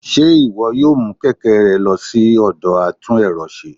Ṣe iwọ yóò mu kẹkẹ rẹ lọ si atún erò se